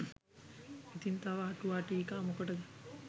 ඉතින් තව අ‍ටුවා ටීකා මොකටද